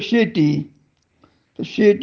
तरच त्याला कमावर ठेवल जात